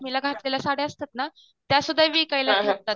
घातलेल्या सद्य असतात ना त्यासुद्धा विकायला ठेवतात.